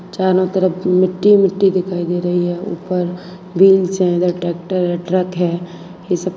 चारों तरफ की मिट्टी मिट्टी दिखाइए दे रही है ऊपर व्हील्स है ट्रैक्टर है ट्रक है ये सब।